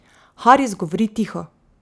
Haris govori tiho.